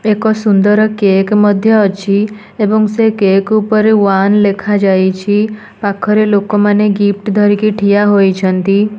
ଏକ ସୁନ୍ଦର କେକ୍ ମଧ୍ୟ ଅଛି ଏବଂ ସେ କେକ୍ ଉପର ୱାନ୍ ଲେଖାଯାଇଛି ପାଖରେ ଲୋକ ମାନେ ଗିଫ୍ଟ ଧରିକି ଠିଆ ହୋଇଛନ୍ତି।